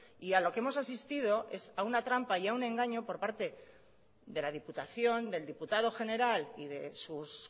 y a lo que hemos asistido es a una trampa y a un engaño por parte de la diputación del diputado general y de sus